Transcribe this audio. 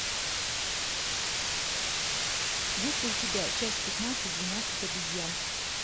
есть ли у тебя часть пятнадцать двенадцать обезьян